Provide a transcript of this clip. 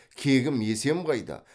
кегім есем қайда